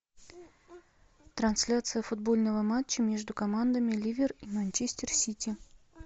трансляция футбольного матча между командами ливер и манчестер сити